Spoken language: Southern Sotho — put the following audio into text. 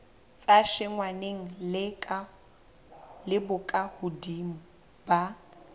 sa tshwenyaneng le bokahodimo ba